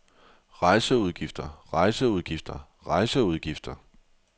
rejseudgifter rejseudgifter rejseudgifter